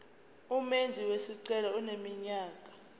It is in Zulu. umenzi wesicelo eneminyaka